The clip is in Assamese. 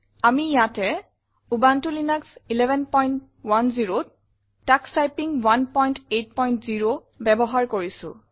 আমি ইয়াতে উবুনটো লিনাস 1110ত তোষ টাইপিং 180 ব্যৱহাৰ কৰিছো